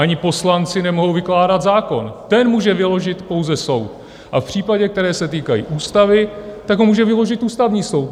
Ani poslanci nemohou vykládat zákon, ten může vyložit pouze soud, a v případech, které se týkají ústavy, tak ho může vyložit ústavní soud.